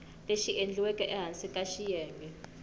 lexi endliweke ehansi ka xiyenge